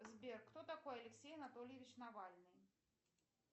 сбер кто такой алексей анатольевич навальный